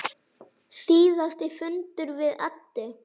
Síðasti fundur við Eddu.